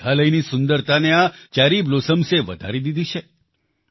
મેઘાલયની સુંદરતાને આ ચેરી બ્લોસમ્સે વધારી દીધી છે